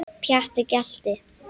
Pjatti gelti.